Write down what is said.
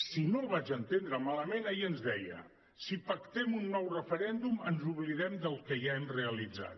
si no el vaig entendre malament ahir ens deia si pactem un nou referèndum ens oblidem del que ja hem realitzat